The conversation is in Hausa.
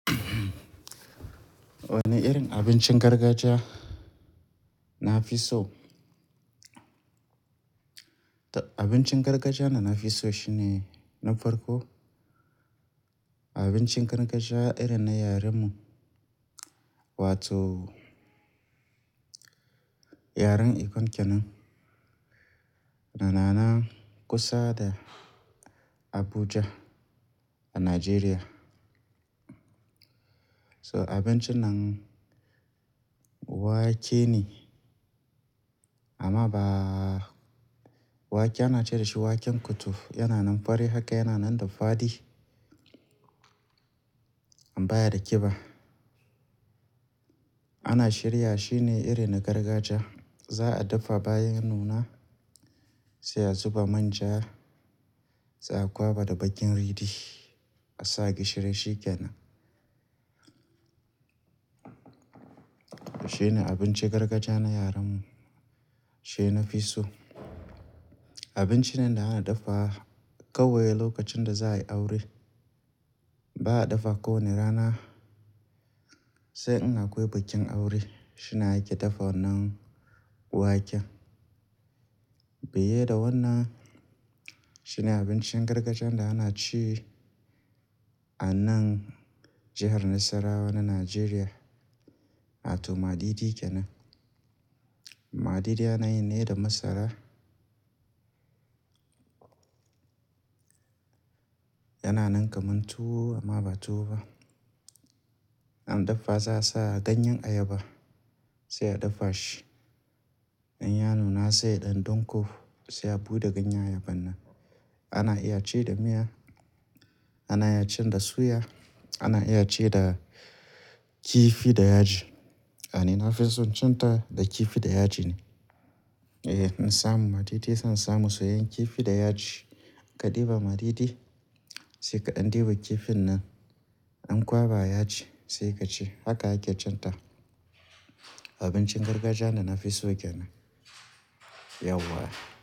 Wani irin abincin gargajiya na fi so? Abincin gargajiya da na fi so shine na farko abincin gargajiya irin na yaren mu wato yaren Ikon kenan yana nan kusa da Abuja a Najeriya. So abincin nan wake ne amma ba wake ana ce dashi waken kutuf yana nan fari haka yana nan da fadi, an baya da ƙiba. Ana shirya shine irin na gargajiya za a dafa bayan ya nuna sai a zuba manja sai a kwaba da bakin ridi asa gishiri shikenan shine abincin gargajiya na yare mu shi nafi so abinci ne da ake dafa wa kawai lokacin da za'ayi aure ba a dafa ko wani rana sai in akwai bikin aure shine ake dafa wannan waken fiye da wannan shine abincin gargajiyar da akeci a nan jihar nassarawa na nigeria wato madidi kenan madidi anayi ne da masara yana nab kaman tuwo amman ba tuwo ba an dafa za'asa ganyen ayaba sai a dafa shi inya nuna sai ya dan danko sai a bude ganyen ayabar nan ana iya ci da miya, ana iya ci da suyaana iya ci da kifi da yaji ni nafison cinta da kifi da yaji ne eh in samu madidi zan samu soyayen kifi da yaji ka diba madidi sai kadan diba kifin nan an kwaba yaji sai kaci haka ake cinta abincin gargajiya da nafiso kenan yauwa.